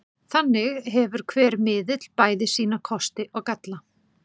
Þannig hefur hver miðill bæði sína kosti og galla.